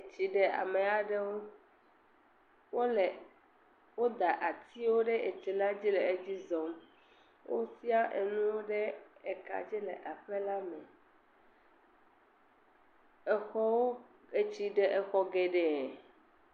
Etsi ɖe ame aɖewo. Wole, woda atiwo ɖe etsila dzi le edzi zɔm. Wosia enuwo ɖe ekadzi le aƒela me. Exɔwo. Etsi ɖe exɔ geɖee.